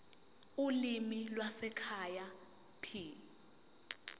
ulimi lwasekhaya p